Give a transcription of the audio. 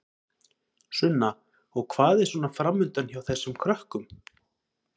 Sunna: Og hvað er svona framundan hjá þessum krökkum?